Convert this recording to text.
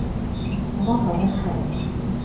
Amanda Nesheim